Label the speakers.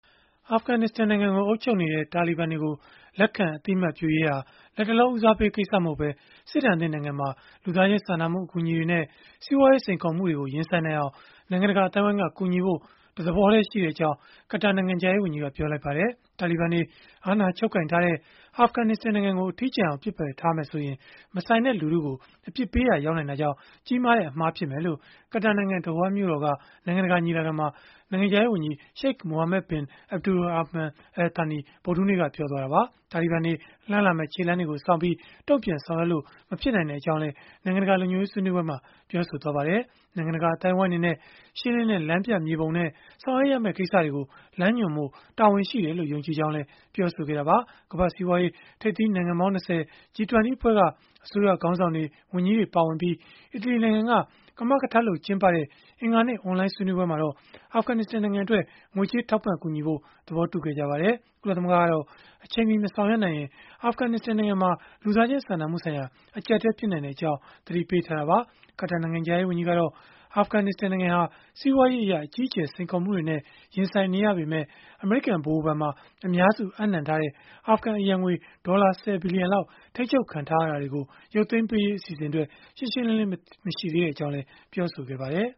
Speaker 1: အာဖဂန်နစ္စတန် နိုင်ငံကို အုပ်ချုပ်နေတဲ့ တာလီဘန်တွေကို လက်ခံအသိအမှတ်ပြုရေးဟာ လတ်တလော ဦးစားပေး ကိစ္စမဟုတ်ပဲ စစ်ဒဏ်သင့် နိုင်ငံမှာ လူသားချင်း စာနာမှု အကူအညီတွေနဲ့ စီးပွားရေး စိန်ခေါ်မှုတွေကို ရင်ဆိုင်နိုင်အောင် နိုင်ငံတကာ အသိုင်းအဝန်းက ကူညီဖို့ တသဘောတည်း ရှိကြကြောင်း ကာတာနိုင်ငံခြားရေးဝန်ကြီးက ပြောလိုက်ပါတယ်။ တာလီဘန်တွေ အာဏာချုပ်ကိုင်ထားတဲ့ အာဖဂန်နစ္စတန် နိုင်ငံကို အထီးကျန်အောင် ပစ်ပယ်ထားမယ်ဆိုရင်၊ မဆိုင်တဲ့လူထုကို အပြစ်ပေးရာရောက်နိုင်တာကြောင့် ကြီးမားတဲ့ အမှားဖြစ်မယ်လို့ ကာတာနိုင်ငံ ဒိုဟာမြို့တော်က နိုင်ငံတကာ ညီလာခံမှာ နိုင်ငံခြားရေးဝန်ကြီး Sheikh Mohammed bin Abdulrahman Al Thani ဗုဒ္ဓဟူးနေ့က ပြောလိုက်တာပါ။ တာလီဘန်တွေ လှမ်းလာမယ့် ခြေလှမ်းတွေကိုစောင့်ပြီး၊ တုံ့ပြန်ဆောင်ရွက်လို့ မဖြစ်နိုင်ကြောင်းလည်း နိုင်ငံတကာ လုံခြုံရေး ဆွေးနွေးပွဲမှာ ပြောသွားပါတယ်။ နိုင်ငံတကာ အသိုင်းအဝန်းအနေနဲ့ ရှင်းလင်းတဲ့ လမ်းပြမြေပုံနဲ့ ဆောင်ရွက်ရမယ့် ကိစ္စတွေကို လမ်းညွှန်ဖို့ တာဝန်ရှိတယ်လို့ ယုံကြည်ကြောင်းလည်း ပြောဆိုခဲ့တာပါ။ ကမ္ဘာ့စီးပွားရေး ထိပ်သီးနိုင်ငံပေါင်း ၂၀ (G-20) အဖွဲ့က အစိုးရခေါင်းဆောင်တွေ၊ ဝန်ကြီးတွေ ပါဝင်ပြီး အီတလီနိုင်ငံက ကမကထလုပ်ကျင်းပခဲ့တဲ့ အင်္ဂါနေ့က အွန်လိုင်း ဆွေးနွေးပွဲမှာတော့ အာဖဂန်နစ္စတန်နိုင်ငံအတွက် ငွေကြေးထောက်ပံ့ ကူညီဖို့ သဘောတူခဲ့ကြပါတယ်။ ကုလသမဂ္ဂကတော့ အချိန်မီ မဆောင်ရွက်နိုင်ရင် အာဖဂန်နစ္စတန် နိုင်ငံမှာ လူသားချင်း စာနာမှုဆိုင်ရာ အကျပ်အတည်း ဖြစ်လာနိုင်ကြောင်း သတိပေးထားတာပါ။ ကာတာနိုင်ငံခြားရေးဝန်ကြီးကတော့ အာဖဂန်နစ္စတန် နိုင်ငံဟာ စီးပွားရေးအရ အကြီးအကျယ် စိန်ခေါ်မှုတွေနဲ့ ရင်ဆိုင်နေရပေမဲ့ အမေရိကန် ဗဟိုဘဏ်မှာ အများစုအပ်နှံထားတဲ့ အာဖဂန်အရန်ငွေ ဒေါ်လာ ၁၀ ဘီလီယံ ထိန်းချုပ်ခံထားရတာတွေကို ရုပ်သိမ်းပေးရေး အစီအစဉ်အတွက် ရှင်းရှင်းလင်းလင်း မရှိသေးကြောင်းလည်း ပြောဆိုခဲ့ပါတယ်